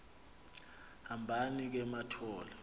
hambani ke mathol